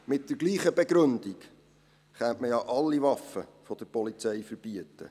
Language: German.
Mit derselben Begründung könnte man ja alle Waffen der Polizei verbieten.